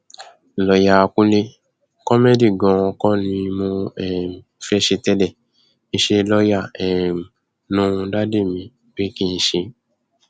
lọọyà kúnlẹ kómẹgì ganan kọ ni mo um fẹẹ ṣe tẹlẹ iṣẹ lọọyà um ló wu dádì mi pé kí n ṣe